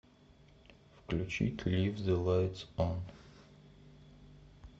включить лив зе лайтс он